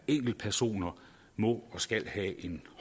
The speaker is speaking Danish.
enkeltpersoner må og skal have en